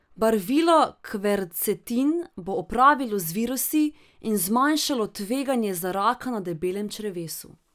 Barvilo kvercetin bo opravilo z virusi in zmanjšalo tveganje za raka na debelem črevesu.